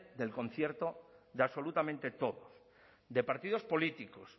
del concierto de absolutamente todo de partidos políticos